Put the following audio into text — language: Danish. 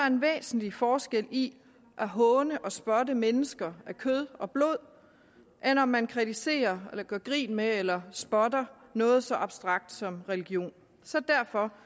en væsentlig forskel i at håne og spotte mennesker af kød og blod eller om man kritiserer eller gør grin med eller spotter noget så abstrakt som religion så derfor